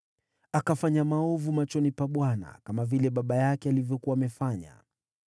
Akafanya maovu machoni pa Bwana , kama vile baba yake alivyokuwa amefanya.